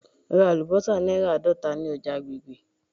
Ra alubosa naira aadota ni oja agbegbe.